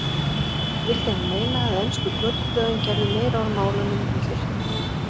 Vildi hann meina að ensku götublöðin gerðu meira úr málunum en þurfti.